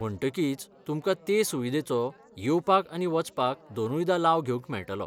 म्हण्टकीच तुमकां ते सुविधेचो येवपाक आनी वचपाक दोनूयदां लाव घेवंक मेळटलो.